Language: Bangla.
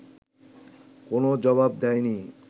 কোনও জবাব দেয় নি